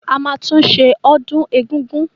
A máa tún ṣe ọdún egúngún.